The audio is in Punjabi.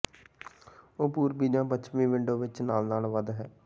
ਉਹ ਪੂਰਬੀ ਜ ਪੱਛਮੀ ਵਿੰਡੋ ਵਿੱਚ ਨਾਲ ਨਾਲ ਵਧ ਹੈ